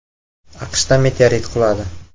AQShda meteorit quladi.